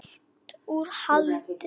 Fylgt úr hlaði